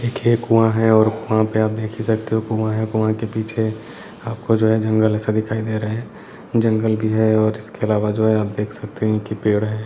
एक कुआ है और कुआ पे आप देख ही सकते हो कुआ है कुआ के पीछे आपको जो है जंगल ऐसा दिखाई दे रहा है जंगल भी है और इसके अलावा जो है आप देख सकते है की पेड़ है।